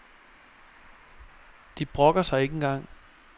De brokker sig ikke engang.